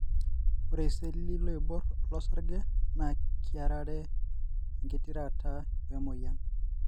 ore iseli looiborr losarge na kiarare ingitirata wemoyian.